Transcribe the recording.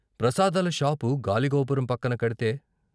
ప్రసాదాల షాపు గాలిగోపురం పక్కన కడితే.